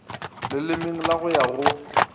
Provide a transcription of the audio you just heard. lelemeng le go ya go